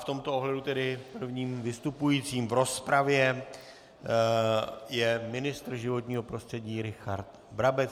V tomto ohledu tedy prvním vystupujícím v rozpravě je ministr životního prostředí Richard Brabec.